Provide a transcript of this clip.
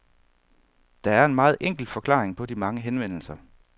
Der er en meget enkel forklaring på de mange henvendelser.